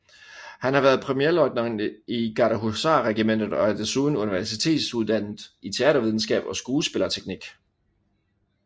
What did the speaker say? Han har været premierløjtnant i Gardehusarregimentet og er desuden universitetsuddannet i teatervidenskab og skuespillerteknik